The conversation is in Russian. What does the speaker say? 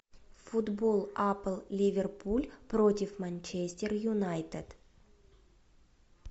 футбол апл ливерпуль против манчестер юнайтед